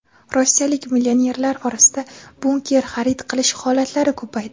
Rossiyalik millionerlar orasida bunker xarid qilish holatlari ko‘paydi.